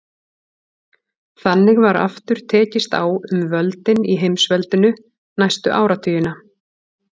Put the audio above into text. Þannig var aftur tekist á um völdin í heimsveldinu næstu áratugina.